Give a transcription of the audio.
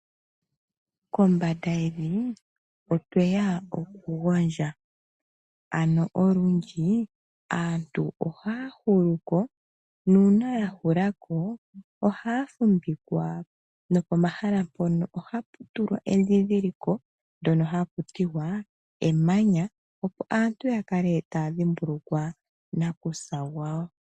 Kombanda yevi otwe ya oku gondja, ano olundji aantu oha ya huluko, nuuna ya hulako oha ya fumvikwa nopomahala mpono oha pu tulwa endhidhiliko, ndjoka hatu tiwa emanya opo aantu ya kale ta ya dhimbulikwa nakusa gwawo.